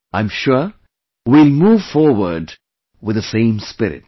I am sure we will move forward with the same spirit